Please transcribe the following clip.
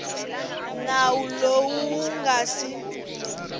nawu lowu wu nga si